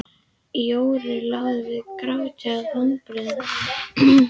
Jóru lá við gráti af vonbrigðum.